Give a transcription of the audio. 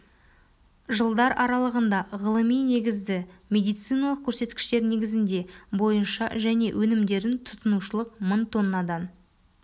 жылдар аралығында ғылыми-негізді медициналық көрсеткіштер негізінде бойынша және өнімдерін тұтынушылық мың тоннадан